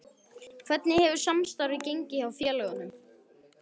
Hvernig hefur samstarfið gengið hjá félögunum?